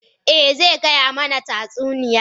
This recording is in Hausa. Eh, zai gaya mana tatsuniya.